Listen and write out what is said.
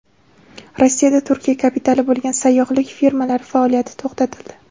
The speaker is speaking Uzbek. Rossiyada Turkiya kapitali bo‘lgan sayyohlik firmalari faoliyati to‘xtatildi.